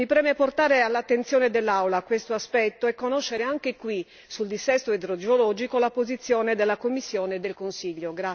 Mi preme portare all'attenzione dell'Aula questo aspetto e conoscere anche qui, sul dissesto idrogeologico, la posizione della Commissione e del Consiglio.